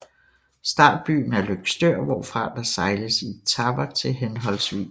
Startbyen er Løgstør hvorfra der sejles i etaper til hhv